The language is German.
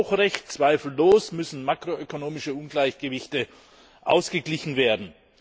Er hat auch Recht, zweifellos müssen makroökonomische Ungleichgewichte ausgeglichen werden.